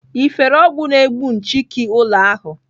Ị fere ọgwụ na-egbu nchịki ụlọ ahụ?